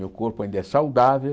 Meu corpo ainda é saudável.